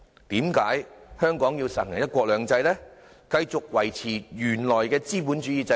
為何香港要實行"一國兩制"，繼續維持原來的資本主義制度？